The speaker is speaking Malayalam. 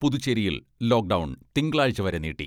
പുതുച്ചേരിയിൽ ലോക് ഡൗൺ തിങ്കളാഴ്ച വരെ നീട്ടി.